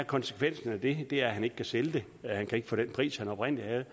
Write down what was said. konsekvensen af det det er at han ikke kan sælge det han kan ikke få den pris han oprindelig havde